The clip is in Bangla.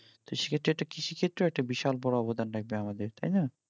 তো সে ক্ষেত্রে একটা কৃষি ক্ষেত্রেও একটা বিশাল বড় অবদান লাগবে আমাদের তাই না?